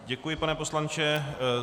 Děkuji, pane poslanče.